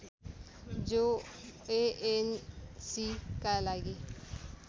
जो एएनसीका लागि